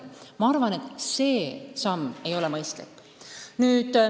Ma arvan, et see ei oleks mõistlik.